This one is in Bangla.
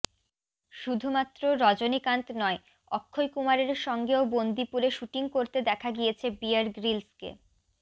শুধুমাত্র রজনীকান্ত নয় অক্ষয় কুমারের সঙ্গেও বন্দিপুরে শ্যুটিং করতে দেখা গিয়েছে বিয়ার গ্রিলসকে